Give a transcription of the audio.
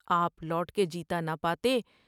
آپ لوٹ کے جیتا نہ پاتے ۔